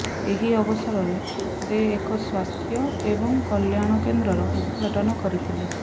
ଏହି ଅବସରରେ ସେ ଏକ ସ୍ୱାସ୍ଥ୍ୟ ଏବଂ କଲ୍ୟାଣ କେନ୍ଦ୍ରର ଉଦଘାଟନ କରିଥିଲେ